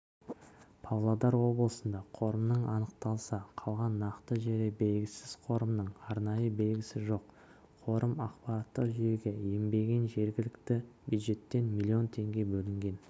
павлодар облысында қорымның анықталса қалған нақты жері белгісіз қорымның арнайы белгісі жоқ қорым ақпараттық жүйеге енбеген жергілікті бюджеттен млн теңге бөлінген